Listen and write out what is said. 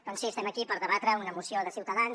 doncs sí estem aquí per debatre una moció de ciutadans